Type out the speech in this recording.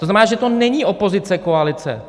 To znamená, že to není opozice-koalice.